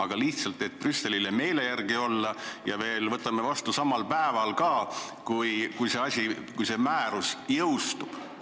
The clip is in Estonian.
Kas me lihtsalt püüame Brüsselile meele järgi olla ja võtame seaduse vastu samal päeval, kui see määrus jõustub?